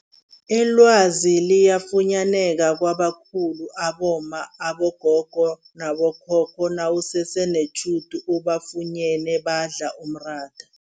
Ilwazi liyafunyaneka kwabakhulu abomma, abogogo nabo khokho nawusese netjhudu ubafunyene badla umratha.